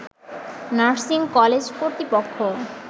nursing কলেজকর্তৃপক্ষ